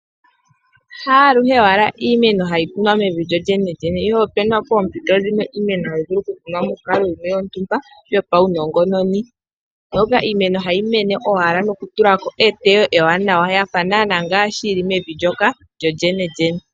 Haaluhe wala iimeno hayi kunwa mevi lyolyene ihe opena pompito dhimwe iimeno hayi vulu okukunwa monkalo yimwe yontumba yopawunongononi, moka iimeno hayi mene owala nokutulako eteyo ewanawa yafa naana ngaashi mbyoka yili mevi lyolyene.